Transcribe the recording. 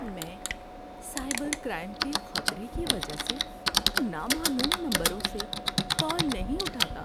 میں cyber crime کے خطرے کی وجہ سے نامعلوم نمبروں سے کال نہیں اٹھاتا۔